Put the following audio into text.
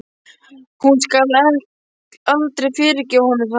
Hún skal aldrei fyrirgefa honum það.